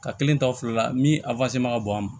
Ka kelen ta o fila la min ma ka bɔ an ma